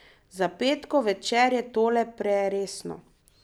Za petkov večer je tole preresno.